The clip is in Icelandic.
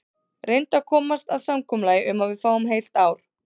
Reyndu að komast að samkomulagi um að við fáum heilt ár.